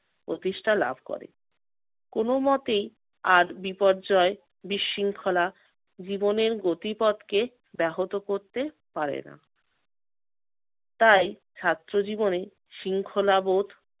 প্রতিষ্ঠা লাভ করে। কোন মতেই আর বিপর্যয় বিশৃঙ্খলা জীবনের গতিপথকে ব্যাহত করতে পারে না। তাই ছাত্র জীবনে শৃঙ্খলাবোধ